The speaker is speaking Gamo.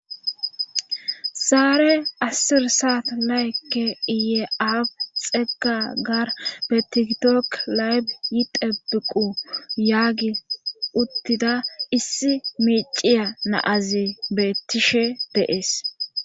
Zaare asir saat laykke iyeab xegga gar betigitook laybi yitebiqu yaagi uttida issi miiciya naazi beettishe de'ees